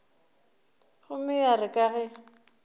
gomme ya re ka ge